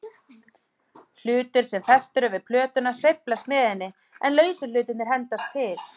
Hlutur sem festur er við plötuna sveiflast með henni, en lausu hlutirnir hendast til.